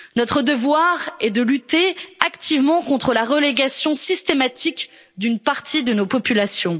Notre devoir est de lutter activement contre la relégation systématique d'une partie de nos populations.